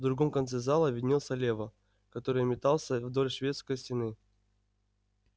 в другом конце зала виднелся лева который метался вдоль шведской стены